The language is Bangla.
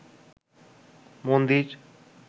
মন্দির